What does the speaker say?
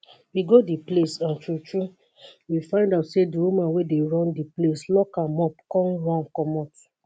we go di place and true true we find out say di woman wey dey run di place lock am up come run comot